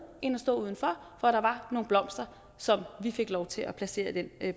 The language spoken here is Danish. end at stå udenfor for der var nogle blomster som vi fik lov til at placere i den